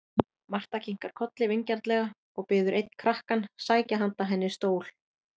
Marta kinkar kolli vingjarnlega og biður einn krakkann sækja handa henni stól.